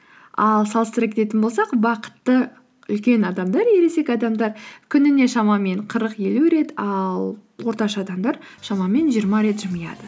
ал салыстыра кететін болсақ бақытты үлкен адамдар ересек адамдар күніне шамамен қырық елу рет ал орташа адамдар шамамен жиырма рет жымияды